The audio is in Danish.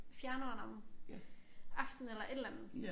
Fjerneren om aftenen eller et eller andet